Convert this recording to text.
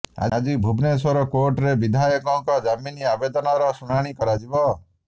ଆଜି ଭୁବନେଶ୍ବର କୋର୍ଟରେ ବିଧାୟକଙ୍କ ଜାମିନ ଆବେଦନର ଶୁଣାଣୀ କରାଯିବ